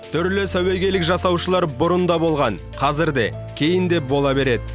түрлі сәуегейлік жасаушылар бұрын да болған қазір де кейін де бола береді